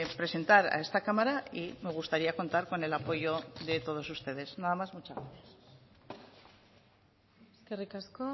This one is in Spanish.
presentar a esta cámara y me gustaría contar con el apoyo de todos ustedes nada más muchas gracias eskerrik asko